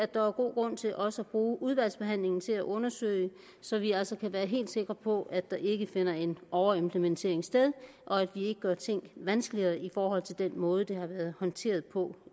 der er god grund til også at bruge udvalgsbehandlingen til at undersøge så vi altså kan være helt sikre på at der ikke finder en overimplementering sted og at vi ikke gør ting vanskeligere i forhold til den måde de har været håndteret på